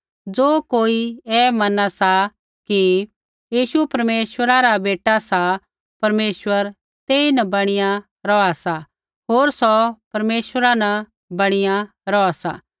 ज़ो कोई ऐ मना सा कि यीशु परमेश्वरा रा बेटा सा परमेश्वर तेइन बणीया रौहा सा होर सौ परमेश्वरा न बणीया रौहा सा